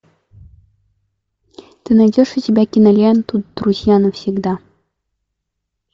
ты найдешь у себя киноленту друзья навсегда